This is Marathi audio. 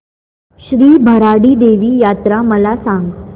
श्री भराडी देवी यात्रा मला सांग